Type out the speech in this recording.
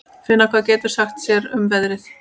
Finna, hvað geturðu sagt mér um veðrið?